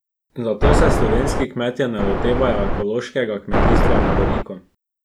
Zato se slovenski kmetje ne lotevajo ekološkega kmetijstva na veliko.